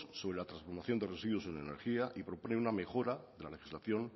sobre la transformación de residuos en energía y propone una mejora de la legislación